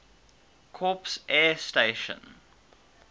corps air station